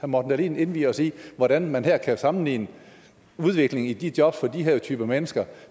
morten dahlin indvie os i hvordan man her kan sammenligne udviklingen i de jobs for de her typer mennesker